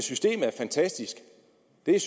det er